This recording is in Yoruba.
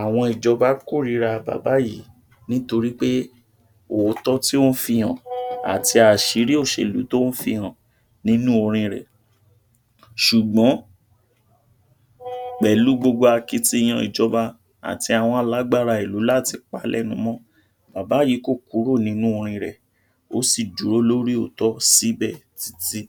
Àwọn ìjọba kórìra bàbá yìí nítorí pé òótó tí ó ń fihàn àti àṣírí òṣèlú tó ń fihàn nínú orin rẹ̀. ṣùgbọ́n pẹ̀lú gbogbo akitiyan ìjọba àti àwọn alágbára ìlú láti pálénumọ́, bàbá yìí kò kúrò nínú orin rẹ̀, ó sì dúró lórí òótó síbẹ̀ títí.